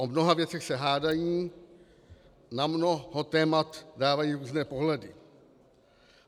O mnoha věcech se hádají, na mnoho témat dávají různé pohledy.